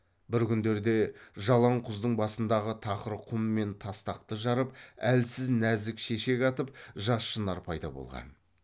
бір күндерде жалаң құздың басындағы тақыр құм мен тастақты жарып әлсіз нәзік шешек атып жас шынар пайда болған